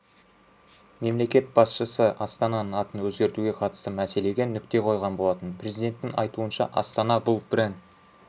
мемлекет басшысы астананың атын өзгертуге қатысты мәселеге нүкте қойған болатын президенттің айтуынша астана бұл бренд